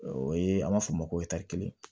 O ye an b'a fɔ o ma ko